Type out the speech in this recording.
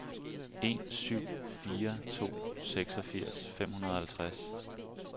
en syv fire to seksogfirs fem hundrede og halvtreds